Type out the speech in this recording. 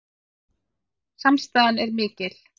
Samstaðan er mikil